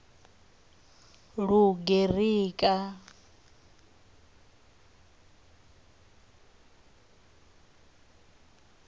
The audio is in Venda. lugerika